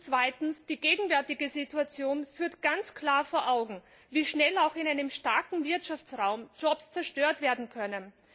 Zweitens Die gegenwärtige Situation führt ganz klar vor Augen, wie schnell auch in einem starken Wirtschaftsraum Jobs zerstört werden können.